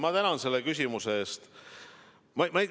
Ma tänan selle küsimuse eest!